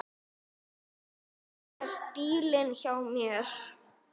Mýkja stílinn hjá mér.